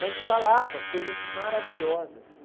Mas falava coisas maravilhosas.